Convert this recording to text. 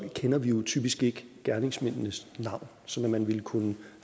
kender jo typisk ikke gerningsmændenes navn sådan at man ville kunne